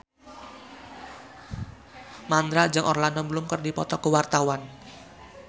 Mandra jeung Orlando Bloom keur dipoto ku wartawan